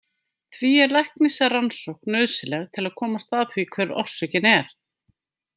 Því er læknisrannsókn nauðsynleg til að komast að því hver orsökin er.